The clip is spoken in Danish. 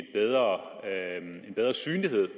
en bedre synlighed